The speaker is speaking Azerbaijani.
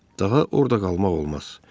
Daha orada qalmaq olmaz.